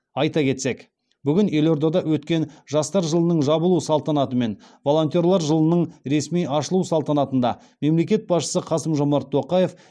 айта кетсек бүгін елордада өткен жастар жылының жабылу салтанаты мен волонтерлар жылының ресми ашылу салтанатында мемлекет басшысы қасым жомарт тоқаев